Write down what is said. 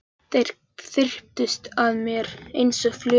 Þeir þyrptust að mér einsog flugur.